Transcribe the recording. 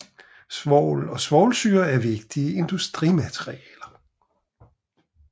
Svovl og svovlsyre er vigtige industrimaterialer